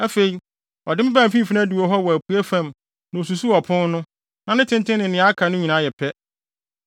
Afei, ɔde me baa mfimfini adiwo hɔ wɔ apuei fam na osusuw ɔpon no; na ne tenten ne nea aka no yɛ pɛ.